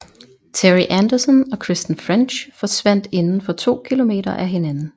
Terri Anderson og Kristen French forsvandt inden for to kilometer af hinanden